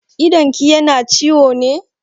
Idonki yana ciwo ne?